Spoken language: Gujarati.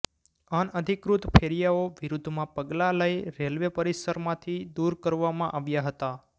અનઅધિકૃત ફેરીયાઓ વિરુદ્ધમાં પગલાં લઇ રેલ્વે પરિસરમાંથી દૂર કરવામાં આવ્યાં હતાં